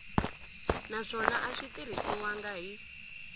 naswona a swi tirhisiwangi hi